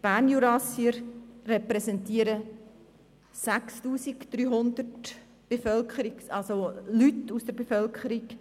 Die Bernjurassier repräsentieren 6300 Leute aus der Kantonsbevölkerung.